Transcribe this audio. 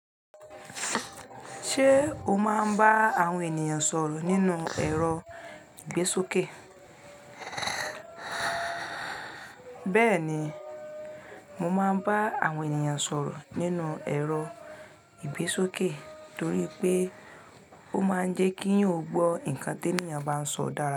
Ṣé o máa ń bá àwọn ènìyàn sọ̀rọ̀ nínú ẹ̀rọ ìgbésókè? Bẹ́ẹ̀ni, mo máa ń bá àwọn ènìyàn sọ̀rọ̀ nínú ẹ̀rọ ìgbésókè torí pé ó máa ń jẹ́ kí n ò gbọ́ ǹkan tí ènìyàn bá ń sọ dára.